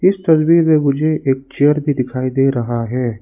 इस तस्वीर में मुझे एक चेयर भी दिखाई दे रहा है।